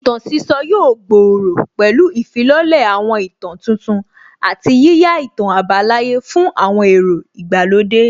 Ìtàn sísọ yóò gbòòrò pẹ̀lú ìfilọ́lẹ̀ àwọn ìtàn tuntun àti yíyá ìtàn àbálàyé fún àwọn èrò ìgbàlódé